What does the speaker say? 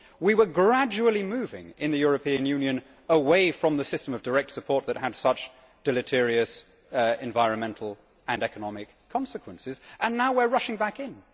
We were gradually moving, in the European Union, away from the system of direct support that had such deleterious environmental and economic consequences, and now we are rushing back in.